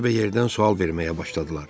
Yerbəyerdən sual verməyə başladılar.